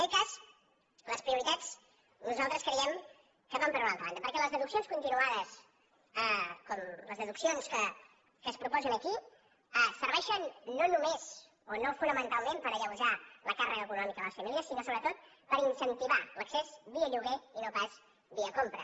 en aquest cas les prioritats nosaltres creiem que van per una altra banda perquè les deduccions continuades com les deduccions que es proposen aquí serveixen no només o no fonamentalment per alleujar la càrrega econòmica a les famílies sinó sobretot per incentivar l’accés via lloguer i no pas via compra